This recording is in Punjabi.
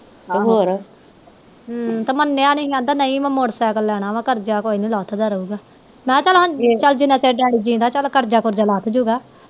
ਹਮ ਤੇ ਮਨੇਆ ਨੀ ਕਹਿੰਦਾ ਨਹੀਂ ਮੈਂ ਮੋਟਰ ਸੈਕਲ ਲੈਣਾ ਵਾ ਕਰਜ਼ਾ ਕੋਈ ਨੀ ਲੱਥ ਦਾ ਰਹੂਗਾ ਮਹਾ ਚੱਲ ਜਿਨ੍ਹਾਂ ਚਿਰ ਡੈਡੀ ਜਿੰਦਾਂ ਚੱਲ ਕਰਜ਼ਾ ਕੁਰਜਾ ਲੱਥ ਜੁਗਾ